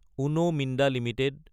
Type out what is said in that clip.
উন Minda Ltd